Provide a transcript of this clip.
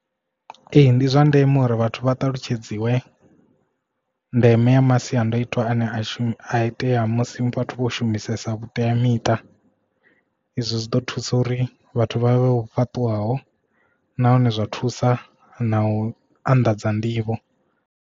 Ee ndi zwa ndeme uri vhathu vha ṱalutshedziwe ndeme ya masiandoitwa ane a shuma a itea musi vhathu vho shumisesa vhuteamiṱa izwo zwi ḓo thusa uri vhathu vha vhe vho fhaṱuwaho nahone zwa thusa na u anḓadza nḓivho.